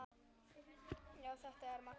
Já, þetta er magnað.